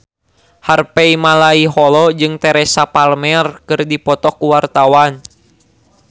Harvey Malaiholo jeung Teresa Palmer keur dipoto ku wartawan